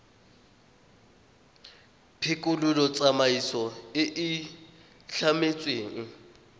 phekolo tsamaiso e e tlametsweng